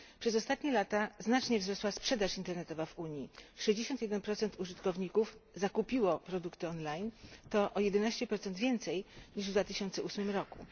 Przez ostatnie lata znacznie wzrosła sprzedaż internetowa w Unii 61 użytkowników zakupiło produkty online to o 11 więcej niż w 2008 roku.